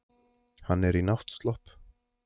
Hann er í náttslopp.